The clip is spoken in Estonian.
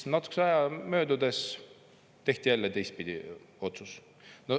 Natukese aja möödudes tehti jälle teistpidi otsus.